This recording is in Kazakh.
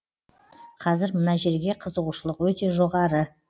қазір мына жерге қызығушылық өте жоғары